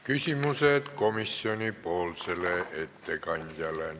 Küsimused komisjonipoolsele ettekandjale.